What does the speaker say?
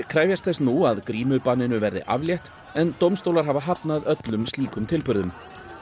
krefjast þess nú að verði aflétt en dómstólar hafa hafnað öllum slíkum tilburðum